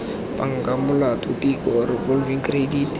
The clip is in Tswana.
banka molato tiko revolving credit